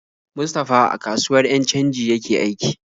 Mustapha a kasuwar 'yan canji yake aiki.